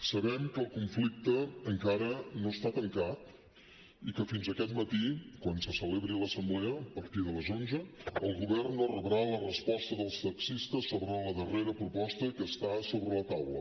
sabem que el conflicte encara no està tancat i que fins aquest matí quan se celebri l’assemblea a partir de les onze el govern no rebrà la resposta dels taxistes sobre la darrera proposta que està sobre la taula